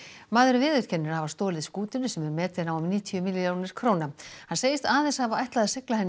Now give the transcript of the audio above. maðurinn viðurkennir að hafa stolið skútunni sem er metin á um níutíu milljónir króna hann segist aðeins hafa ætlað að sigla henni